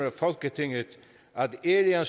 af folketinget at ære